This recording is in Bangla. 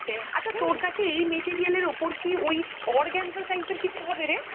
আচ্ছা তোর কাছে এই material এর ওপর কি ওই organza type এর কিছু হবে রে?